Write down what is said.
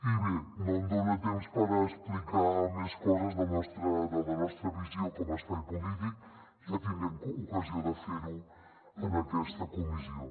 i bé no tinc temps per explicar més coses de la nostra visió com a espai polític ja tindrem ocasió de fer ho en aquesta comissió